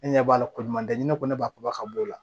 Ne ɲɛ b'a la ko ɲuman tɛ ni ne ko ne ba kumaba ka b'o la